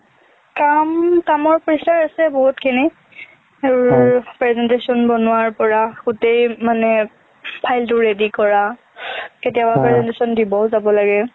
কাম কামৰ pressure আছে বহুতখিনি আৰু presentation বনোৱাৰ পৰা গোটেই মানে file টো ready কৰা কেতিয়াবা presentation দিবও যাব লাগে